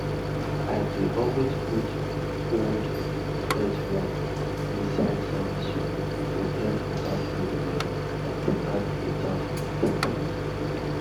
i dey always put old earthworm inside sandy soil to help water flow well and provide better food for plants